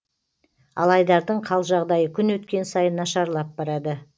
ал айдардың қал жағдайы күн өткен сайын нашарлап барады